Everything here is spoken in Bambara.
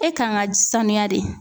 E kan ka sanuya de